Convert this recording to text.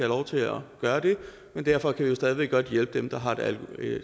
lov til at gøre det men derfor kan vi jo stadig væk godt hjælpe dem der har et